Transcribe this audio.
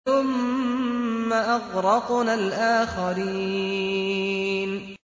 ثُمَّ أَغْرَقْنَا الْآخَرِينَ